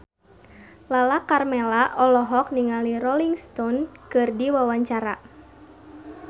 Lala Karmela olohok ningali Rolling Stone keur diwawancara